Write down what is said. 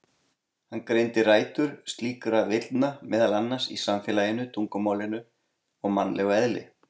Hann greindi rætur slíkra villna meðal annars í samfélaginu, tungumálinu og mannlegu eðli.